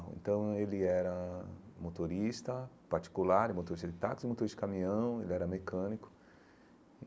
Então ele era motorista particular, motorista de táxi, motorista de caminhão, ele era mecânico.